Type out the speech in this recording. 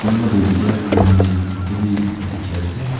kunba toh itya green leaf ityahi dikhi ase.